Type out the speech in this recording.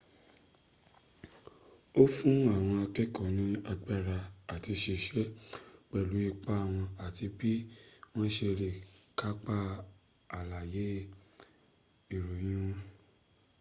ó fún àwọn akẹ́ẹ̀kọ́ ní agbára àt siṣẹ́ pẹ̀lú ipa wọn àti bí wọ́n se lè kápá àlàyé ìròyìn wọn